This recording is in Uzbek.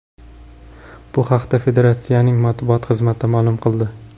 Bu haqda Federatsiyaning matbuot xizmati ma’lum qildi.